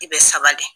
I bɛ saba de